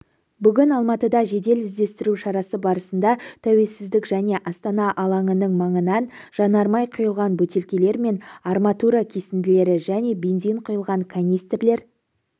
бүгін алматыда жедел іздестіру шарасы барысында тәуелсіздік және астана алаңының маңынан жанармай құйылған бөтелкелер мен арматура кесінділері және бензин құйылған канистрлер